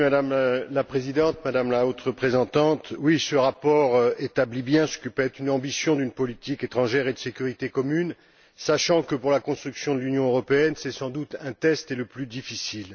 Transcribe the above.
Madame la Présidente, Madame la Haute Représentante, oui, ce rapport établit bien ce que peut être une ambition de politique étrangère et de sécurité commune, sachant que pour la construction de l'Union européenne, c'est sans doute un test, et le plus difficile.